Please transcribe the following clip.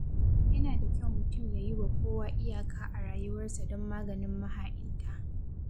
Yana da kyau mutum ya yiwa kowa iyaka a rayuwarsa don maganin maha'inta.